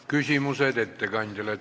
Küsimused ettekandjale.